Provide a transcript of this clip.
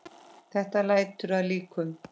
Þetta lætur að líkum.